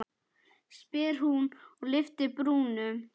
spyr hún og lyftir brúnum.